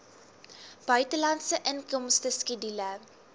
buitelandse inkomste skedule